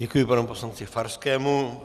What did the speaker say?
Děkuji panu poslanci Farskému.